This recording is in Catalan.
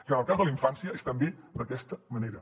que en el cas de la infància és també d’aquesta manera